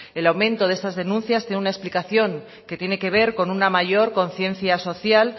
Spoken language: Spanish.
el aumento de estas denuncias tiene una explicación que tiene que ver con una mayor conciencia social